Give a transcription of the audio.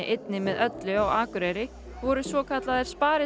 einni með öllu á Akureyri voru svokallaðir